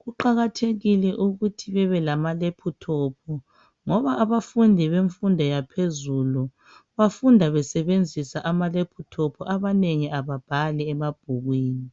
kuqakathekile ukuthi babe lamalephuthophu ngoba bafunda besebenzisa wona abanengi ababhali emabhukwini.